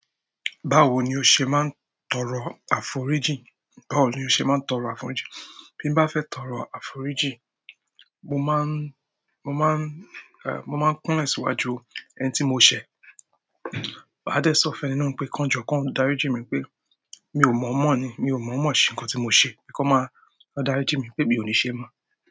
Báwo ni o ṣe máa ń tọrọ àforijí? Báwo ni o ṣe máa ń tọrọ àforíjì? Bí n bá fẹ́ tọrọ àforíjì, mo máa ń, mo máa ń, mo máa ń kúnle síwájú ẹni tí mo ṣẹ̀. Máa dé sọ́ fẹ́ni náà pé kí wọ́n jọ́, kí wọ́n darí jí mi wípé mi ò mọ̀ mọ̀ ni, mi ò mọ̀ mọ̀ sí nǹkan tí mo ṣe. Kí wọ́n darí jí mi wípé mi ò ní ṣe mọ̀.